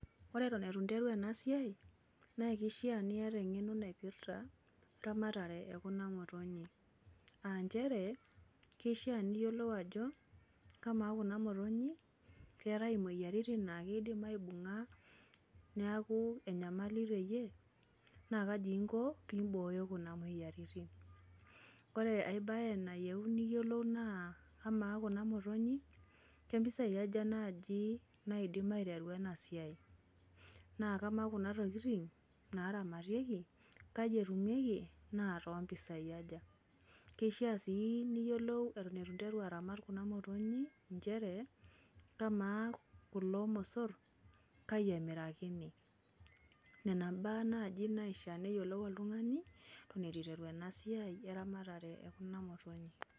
Ore eton itu nteru enasiai, naa kishaa niata eng'eno naipirta eramatare ekuna motonyik. Ah njere, kishaa niyiolou ajo, kamaa kuna motonyik, keetae imoyiaritin na kiidim aibung'a neeku enyamali teyie? Na kaji inko pibooyo kuna moyiaritin. Ore ai bae nayieuni niyiolou naa, amaa kuna motonyik, kempisai aja naji naidim aiteru enasiai? Na kamaa kuna tokiting naramatieki, kaji etumieki, na katoo mpisai aja? Kishaa si niyiolou eton itu nteru aramat kuna motonyik njere, kamaa kulo mosor, kai emirakini? Nena mbaa nai naishaa neyiolou oltung'ani, eton itu iteru enasiai eramatare ekuna motonyik.